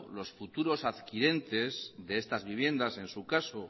los futuros adquirientes de estas viviendas en su caso